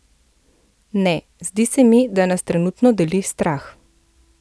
Ne, zdi se mi, da nas trenutno deli strah.